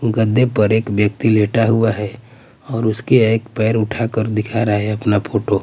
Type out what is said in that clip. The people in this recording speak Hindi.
गद्दे पर एक व्यक्ति लेटा हुआ हैं और उसके एक पैर उठाकर दिखा रहा हैं अपना फोटो --